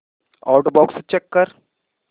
outbox check कर